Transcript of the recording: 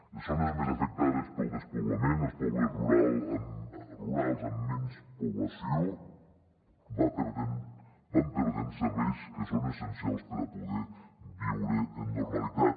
les zones més afectades pel despoblament els pobles rurals amb menys població van perdent serveis que són essencials per a poder viure en normalitat